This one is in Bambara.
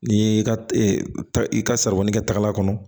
N'i y'i ka i ka saribɔn kɛ taga kɔnɔ